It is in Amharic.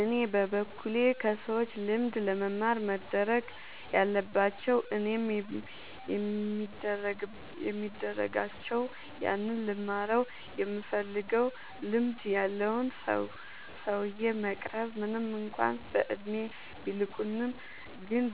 እኔ በበኩሌ ከሰዎች ልምድ ለመማር መደረግ ያለባቸው እኔም የሚደርጋቸው ያንን ልንማረው ይምንፈልገውን ልምድ ያለውን ሰውዬ መቅረብ ምንም እንኳን በእድሜ ቢልቁንም ግን